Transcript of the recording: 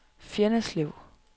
Fjenneslev